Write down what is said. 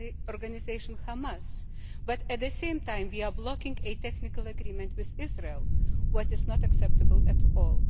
organisation, Hamas, but at the same time we are blocking a technical agreement with Israel, which is not acceptable at all.